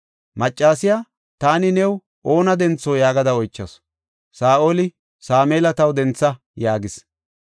Maccasiya, “Taani new oona dentho?” yaagada oychasu. Saa7oli, “Sameela taw dentha” yaagis.